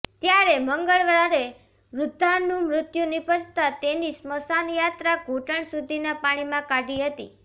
ત્યારે મંગળવારે વૃધ્ધાનું મૃત્યુ નિપજતાં તેની સ્મશાનયાત્રા ઘુંટણ સુધીના પાણીમાં કાઢી હતી